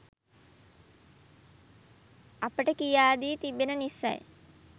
අපට කියා දී තිබෙන නිසයි